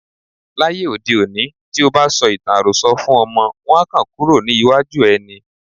Láyé òde òní, tí o bá sọ ìtàn àròsọ fún ọmọ, wọn á kàn kúrò ní iwájú ẹ ni.